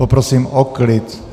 Poprosím o klid.